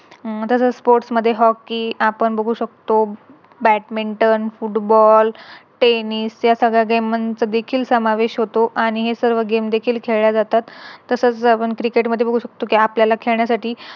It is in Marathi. हम्म तसंच Sports मध्ये Hockey आपण बघू शकतो Badminton, Football, Tennis या सगळ्या देखील समावेश होतो आणि हे सर्व Game देखील खेळल्या जातात. तसंच आपण Cricket मध्ये बघू शकतो कि आपल्याला खेळण्यासाठी